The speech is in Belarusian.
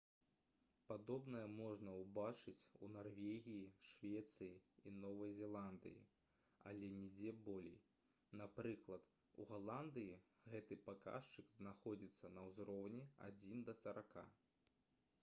падобнае можна ўбачыць у нарвегіі швецыі і новай зеландыі але нідзе болей напрыклад у галандыі гэты паказчык знаходзіцца на ўзроўні адзін да сарака